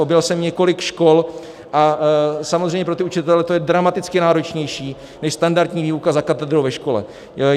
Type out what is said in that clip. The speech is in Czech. Objel jsem několik škol a samozřejmě pro ty učitele to je dramaticky náročnější než standardní výuka za katedrou ve škole.